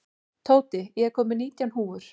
Tóti, ég kom með nítján húfur!